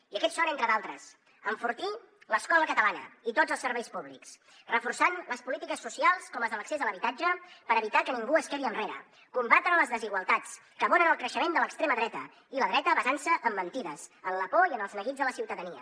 i aquests són entre d’altres enfortir l’escola catalana i tots els serveis públics reforçant les polítiques socials com les de l’accés a l’habitatge per evitar que ningú es quedi enrere combatre les desigualtats que abonen el creixement de l’extrema dreta i la dreta basant se en mentides en la por i en els neguits de la ciutadania